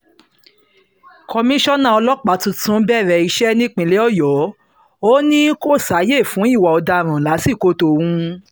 komisanna ọlọ́pàá tuntun bẹ̀rẹ̀ iṣẹ́ nípínlẹ̀ ọ̀yọ́ ò ní kó sáàyè fún ìwà ọ̀daràn lásìkò tóun